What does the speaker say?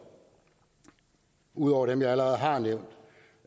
ud over dem jeg allerede har nævnt